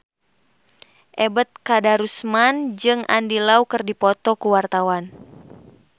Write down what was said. Ebet Kadarusman jeung Andy Lau keur dipoto ku wartawan